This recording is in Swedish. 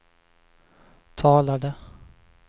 talade